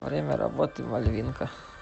время работы мальвинка